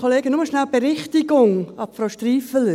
Nur kurz eine Berichtigung an Frau Striffeler.